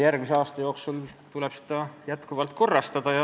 Järgmise aasta jooksul tuleb seda jätkuvalt korrastada.